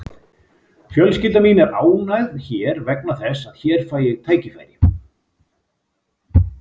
Fjölskylda mín er ánægð hér vegna þess að hér fæ ég tækifæri.